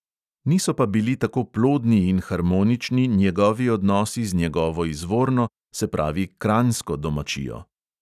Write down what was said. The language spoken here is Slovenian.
Niso pa bili tako plodni in harmonični njegovi odnosi z njegovo izvorno, se pravi kranjsko domačijo.